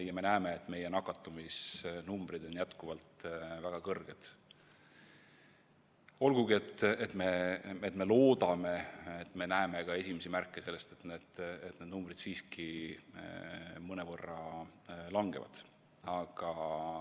Ja me näeme, et meie nakatumisnumbrid on jätkuvalt väga kõrged, olgugi et me loodame, et näeme esimesi märke ka sellest, et need numbrid siiski mõnevõrra langevad.